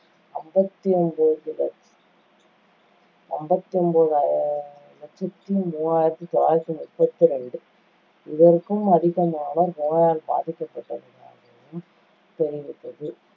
அம்பத்தி ஒன்பது லட்~ அம்பத்தி ஒன்பது ஆ~ லட்சத்தி மூவாயிரத்தி தொள்ளாயிரத்தி முப்பத்தி ரெண்டு இதற்கும் அதிகமான நோயால் பாதிக்கப்பட்டவர்களுக்காகவும் தெரிவித்தது